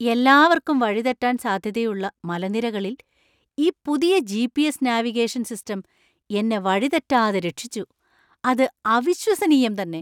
എല്ലാവർക്കും വഴി തെറ്റാൻ സാധ്യതയുള്ള മലനിരകളിൽ ഈ പുതിയ ജി.പി.എസ്. നാവിഗേഷൻ സിസ്റ്റം എന്നെ വഴി തെറ്റാതെ രക്ഷിച്ചു . അത് അവിശ്വസനീയം തന്നെ !